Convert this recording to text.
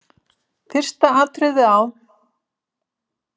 Fyrsta atriðið á.